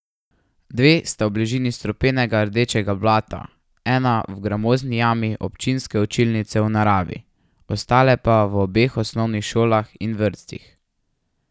Dve sta v bližini strupenega rdečega blata, ena v gramozni jami občinske učilnice v naravi, ostale pa v obeh osnovnih šolah in vrtcih.